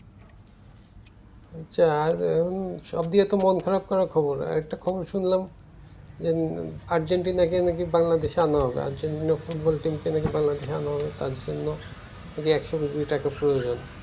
হ্যাঁ সব দিক দিয়ে মন খারাপ করা একটা খবর আরেকটা খবর শুনলাম যে আর্জেন্টিনা কে নাকি বাংলাদেশ এ আনা হবে আর্জেন্টিনা ফুটবল team কে নাকি বাংলাদেশ এ আনা হবে তার জন্য একশো কুড়ি টাকা প্রয়োজন